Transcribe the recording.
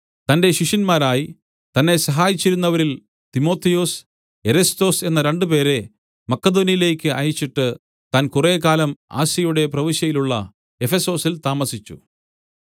തന്റെ ശിഷ്യന്മാരായി തന്നെ സഹായിച്ചിരുന്നവരിൽ തിമൊഥെയൊസ് എരസ്തൊസ് എന്ന രണ്ടുപേരെ മക്കെദോന്യയിലേക്ക് അയച്ചിട്ട് താൻ കുറേക്കാലം ആസ്യയുടെ പ്രവിശ്യയിലുള്ള എഫെസൊസിൽ താമസിച്ചു